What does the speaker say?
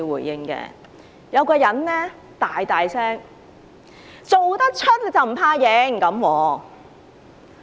有人大聲說："做得出就不怕認！